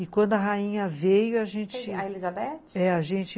E quando a rainha veio, a gente... A Elisabeth? é, a gente